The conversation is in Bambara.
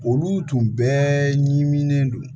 Olu tun bɛɛ ɲimilen don